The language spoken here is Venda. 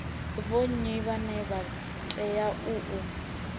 vhonnyi vhane vha teau u